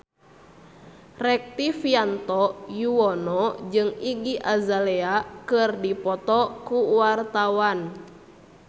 Rektivianto Yoewono jeung Iggy Azalea keur dipoto ku wartawan